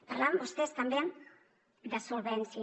parlaven vostès també de solvència